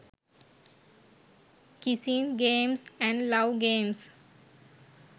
kissing games and love games